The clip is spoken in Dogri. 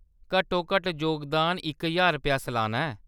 घट्टोघट्ट जोगदान इक ज्हार रपेआ सलाना ऐ।